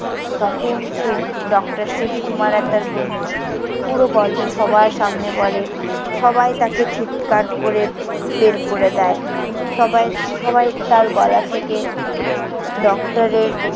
তখন সে ডক্টর শিব কুমার আর তার বন্ধু পুরো গল্প সবার সামনে বলে। সবাই তাকে ধিক্কার করে বের করে দেয়। সবাই~ সবাই তার গলা থেকে ডক্টরের